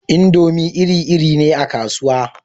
Indomi iri-iri ne a kasuwa